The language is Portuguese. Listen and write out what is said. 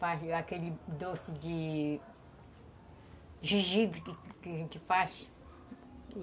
Faz aquele doce de... de gengibre que que faz